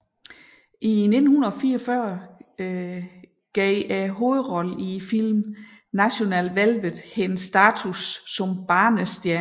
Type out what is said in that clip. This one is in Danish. I 1944 gav hovedrollen i filmen National Velvet hende status som barnestjerne